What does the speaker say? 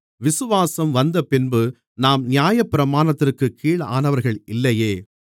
விசுவாசம் வந்தபின்பு நாம் நியாயப்பிரமாணத்திற்குக் கீழானவர்கள் இல்லையே